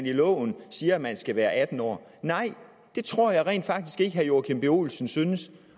i loven siger at man skal være atten år nej det tror jeg rent faktisk ikke at herre joachim b olsen synes